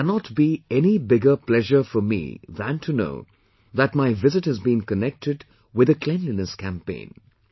There cannot be any bigger pleasure for me than to know that my visit has been connected with the cleanliness campaign